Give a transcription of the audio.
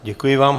Děkuji vám.